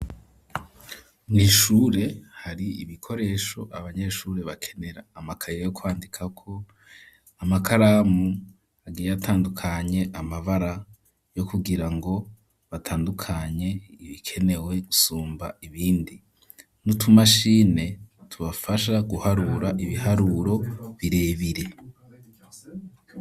Mw'ishure hari ibikoresho abanyeshuri bakenera amakaya yo kwandika ko amakaramu agiye atandukanye amabara yo kugira ngo batandukanye ibikenewe sumba ibindi n'utumashini tubafasha guharura ibiharuro birebire.